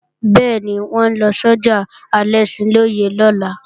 Bẹ́ẹ̀ni, wọn ó lọ sọ́jà Alẹ́ṣinlọ́yẹ́ lọ́la